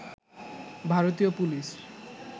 ভারতীয় পুলিশ